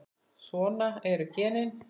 Svona eru genin.